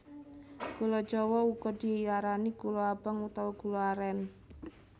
Gula jawa uga diarani gula abang utawa gula arén